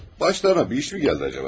Başlarına bir işmi gəldi acaba?